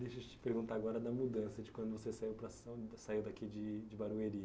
Deixa eu te perguntar agora da mudança, de quando você saiu daqui de de Barueri.